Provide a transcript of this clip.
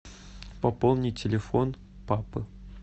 пополни телефон папы